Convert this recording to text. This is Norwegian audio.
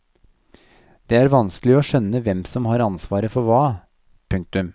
Det er vanskelig å skjønne hvem som har ansvar for hva. punktum